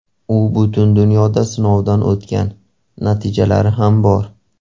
U butun dunyoda sinovdan o‘tgan, natijalar ham bor.